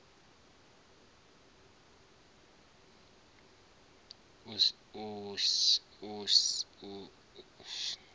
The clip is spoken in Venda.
u sa fhelela ha tshubu